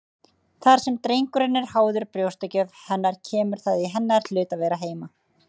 Þar sem drengurinn er háður brjóstagjöf hennar kemur það í hennar hlut að vera heima.